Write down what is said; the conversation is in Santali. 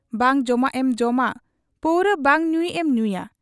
ᱵᱟᱝ ᱡᱚᱢᱟᱜ ᱮᱢ ᱡᱚᱢᱟ, ᱯᱟᱹᱣᱨᱟᱹ ᱵᱟᱝ ᱧᱩᱭᱤᱡ ᱮᱢ ᱧᱩᱭᱟ ᱾